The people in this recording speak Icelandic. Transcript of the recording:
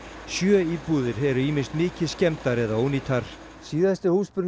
sjö íbúðir eru ýmist mikið skemmdar eða ónýtar síðasti